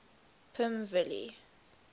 pimvilli